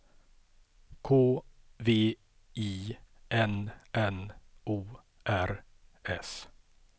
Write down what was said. K V I N N O R S